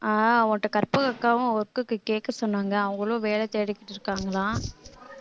ஆஹ் உன்கிட்ட கற்பகம் அக்காவும் work க்கு கேட்க சொன்னாங்க அவங்களும் வேலை தேடிக்கிட்டு இருக்காங்களாம்